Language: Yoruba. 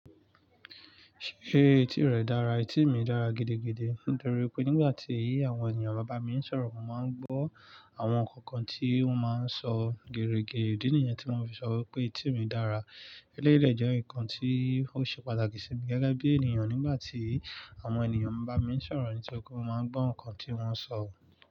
Ṣé etí rẹ dára? Etí mi dára gidigidi. Nítorí pé nígbà tí àwọn ènìyàn bá bá mi ń sọ̀rọ̀, mo máa ń gbọ́ àwọn kọ̀ọ̀kan tí wọ́n máa ń sọ gere ge. Idì nìyẹn tí mo fi sọ wípé etí mi dára. Eléré jẹ́ nǹkan tí ó ṣe pàtàkì sí mi gẹ́gẹ́ bí ènìyàn nígbà tí àwọn ènìyàn bá bá mi ń sọ̀rọ̀, ní tókó mo máa ń gbọ́ nǹkan tí wọ́n ń sọ.